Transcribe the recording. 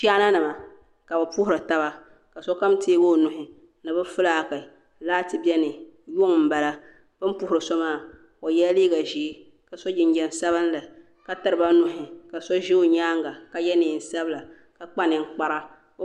Chaana nima ka bɛ puhiri taba ka so kam teegi o nuhi ni bɛfilaaki laati yuŋ n bala bini puhiri so maa o yela liiga ʒee ka so jinjiɛm sabinli ka tiriba nuhi so ʒɛ o nyaanga ka ye niɛn sabila ka kpa ninkpara.